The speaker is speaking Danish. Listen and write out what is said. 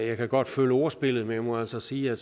jeg kan godt følge ordspillet men jeg må altså sige at